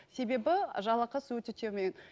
себебі жалақысы өте төмен